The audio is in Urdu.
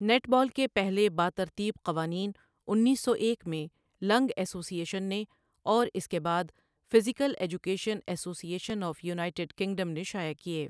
نیٹ بال کے پہلے باترتیب قوانین انیس سو ایک میں لنگ ایسوسی ایشن نے اور اس کے بعد physical education association of United Kingdom نے شائع کیے۔